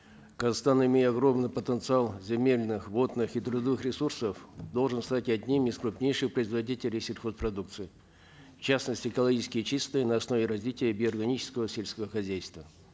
казахстан имея огромный потенциал земельных водных и трудовых ресурсов должен стать одним из крупнейших производителей сельхозпродукции в частности экологически чистой на основе развития биоорганического сельского хозяйства